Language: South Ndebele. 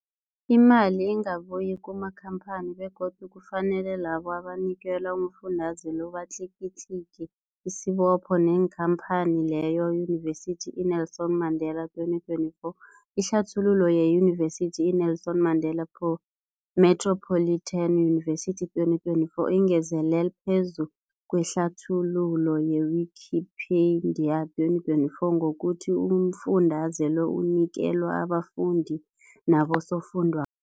Imali ingabuyi kumakhamphani begodu kufanele labo abanikelwa umfundaze lo batlikitliki isibopho neenkhamphani leyo, Yunivesity i-Nelson Mandela 2024. Ihlathululo yeYunivesithi i-Nelson Mandela po Metropolitan University, 2024, ingezelele phezu kwehlathululo ye-Wikipedia, 2024, ngokuthi umfundaze lo unikelwa abafundi nabosofundwa